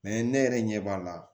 ne yɛrɛ ɲɛ b'a la